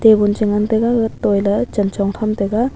table chu ngan taiga gatoila chanchong tham taiga.